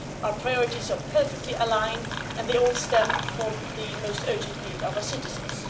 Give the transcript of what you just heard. Our priorities are perfectly aligned and they all stem from the most urgent needs of our citizens.